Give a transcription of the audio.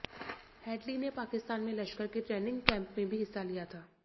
Headley ने पाकिस्तान में लश्कर के ट्रेनिंग कैंप में भी हिस्सा लिया था